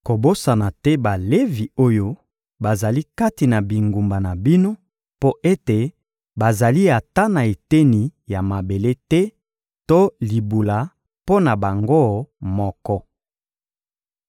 Kobosana te Balevi oyo bazali kati na bingumba na bino mpo ete bazali ata na eteni ya mabele te to libula mpo na bango moko.